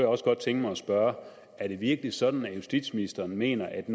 også godt tænke mig at spørge er det virkelig sådan at justitsministeren mener at